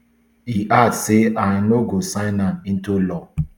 e add say im no go sign am into law